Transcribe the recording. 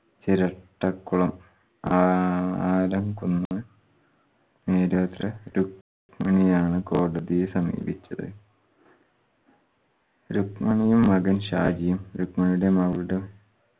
ചിരട്ടക്കുളം ആ ആലംകുന്ന് രുക്മിണിയാണ് കോടതിയെ സമീപിച്ചത് രുക്മിണിയും മകൻ ഷാജിയും രുക്മിണിയുടെ മകളുടെ